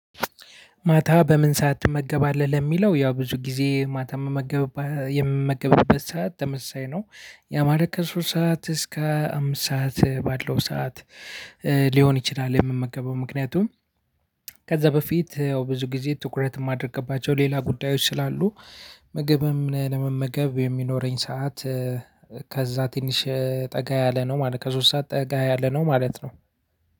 ማታ በምን ሰዓት ትመገባለህ ለሚለው ያው ብዙ ጊዜ ማታ ምመገብባት የምመገብበት ሰዓት ተመሳሳይ ነው ያማለት ከሶስት ሰዓት እስከ አምስት ሰዓት ባለው ሰዓት። ሊሆን ይችላል የምመገበው ምክንያቱም ከዛ በፊት ያው ብዙ ጊዜ ትኩረት የማደርግባቸው ሌላ ጉዳዮች ስላሉ። ምግብም ለመመገብ የሚኖረኝ ሰዓት። ከዛ ትንሽ ጠጋ ያለ ነው ማለት ከሶስት ሰዓት ጠጋ ያለ ነው ማለት ነው።